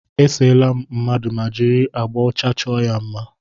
E seela m mmadụ ma jiri agbà ọcha chọọ ya mma.